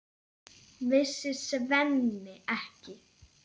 Vissi Svenni ekki?